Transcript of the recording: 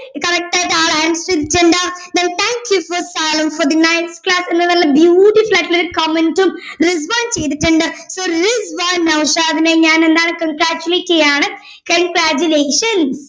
Correct ആയിട്ട് ആള് answer ചെയ്തിട്ടുണ്ട് എന്ന് നല്ല beautiful ആയിട്ടുള്ള ഒരു comment ഉം റിസ്‌വാൻ ചെയ്തിട്ടുണ്ട് so റിസ്‌വാൻ നൗഷാദിനെ ഞാൻ എന്താണ് congragulate ചെയ്യാണ് congragulations